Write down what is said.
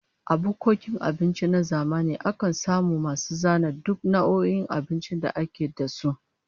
A bukkokin abinci na zamani akan samu masu zana duk nau'o'in abincin da ake da su